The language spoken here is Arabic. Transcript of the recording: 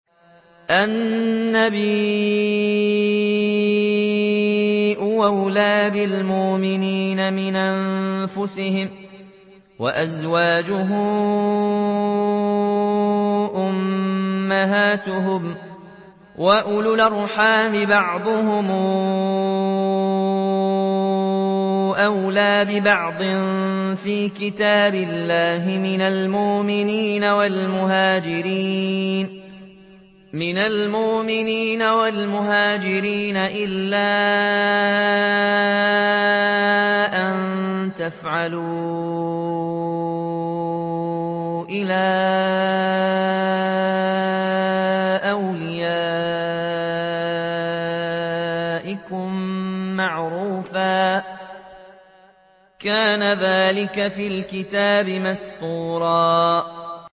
النَّبِيُّ أَوْلَىٰ بِالْمُؤْمِنِينَ مِنْ أَنفُسِهِمْ ۖ وَأَزْوَاجُهُ أُمَّهَاتُهُمْ ۗ وَأُولُو الْأَرْحَامِ بَعْضُهُمْ أَوْلَىٰ بِبَعْضٍ فِي كِتَابِ اللَّهِ مِنَ الْمُؤْمِنِينَ وَالْمُهَاجِرِينَ إِلَّا أَن تَفْعَلُوا إِلَىٰ أَوْلِيَائِكُم مَّعْرُوفًا ۚ كَانَ ذَٰلِكَ فِي الْكِتَابِ مَسْطُورًا